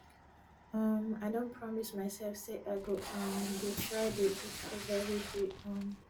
um i don promise myself say i go um dey try dey eat fruit everyday um